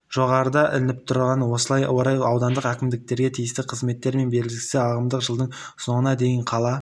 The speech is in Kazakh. жоғарыда ілініп тұр осыған орай аудандық әкімдіктерге тиісті қызметтермен бірлесіп ағымдағы жылдың соңыңа дейін қала